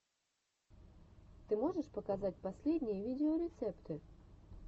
ты можешь показать последние видеорецепты